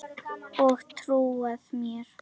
Og trúað mér!